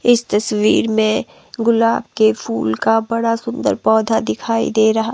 इस तस्वीर में गुलाब के फूल का बड़ा सुंदर पौधा दिखाई दे रहा--